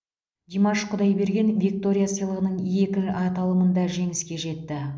димаш құдайберген виктория сыйлығының екі аталымында жеңіске жетті